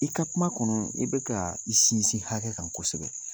I ka kuma kɔnɔ, i bɛka i sinsin hakɛ kan kosɛbɛ.